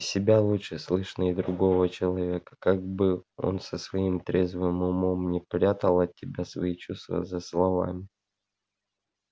себя лучше слышно и другого человека как бы он со своим трезвым умом не прятал от тебя свои чувства за словами